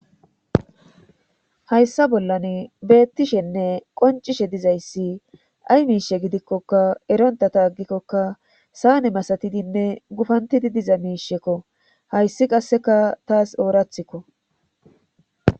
hayssa bollan beettishenne qoncishe dizayssi ay miishe gidikkokka eronta ta aggikkoka saane masatidinne gufantidi diza miishekko hayssi qasseka taas oorathikko